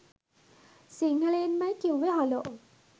සිංහලෙන්මයි කිව්වේ හලෝ